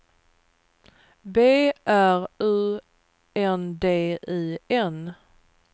B R U N D I N